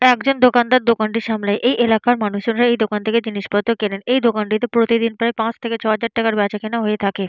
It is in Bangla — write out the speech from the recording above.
একজন দোকানদার দোকানটি সামলায়এই এলাকার মানুষেরাএই দোকান থেকে জিনিসপত্র কেনেন । এই দোকানটিতে প্রতিদিন প্রায় পাঁচ থেকে ছ হাজার টাকার বেঁচা কেনা হয়ে থাকে।